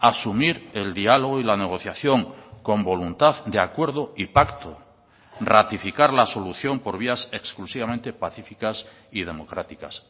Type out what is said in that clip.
asumir el diálogo y la negociación con voluntad de acuerdo y pacto ratificar la solución por vías exclusivamente pacíficas y democráticas